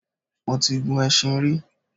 Mo ti gun ẹṣin rí